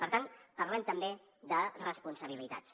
per tant parlem també de responsabilitats